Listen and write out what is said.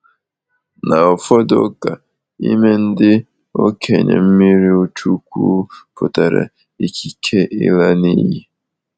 Na ụfọdụ ụka, ịme ndị okenye mmiri chukwu pụtara ikike ịla n’iyi.